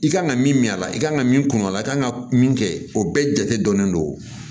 I kan ka min min a la i kan ka min kun a la i kan ka min kɛ o bɛɛ jate dɔnnen don